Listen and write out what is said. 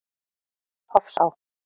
Hofsá